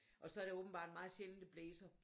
Og så er det åbenbart meget sjældent det blæser